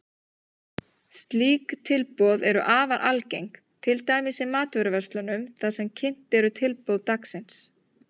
Slík tilboð eru afar algeng, til dæmis í matvöruverslunum þar sem kynnt eru tilboð dagsins.